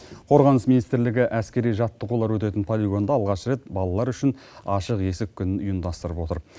қорғаныс министрлігі әскери жаттығулар өтетін полигонда алғаш рет балалар үшін ашық есік күнін ұйымдастырып отыр